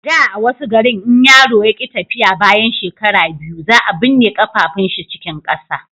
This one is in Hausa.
a da a wasu garin in yaro ya ki tafiya bayan shekara biyu za a binne kafafuwan shi cikin ƙasa